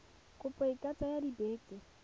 kopo e ka tsaya dibeke